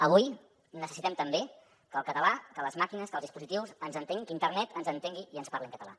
avui necessitem també que el català que les màquines que els dispositius que internet ens entengui i ens parli en català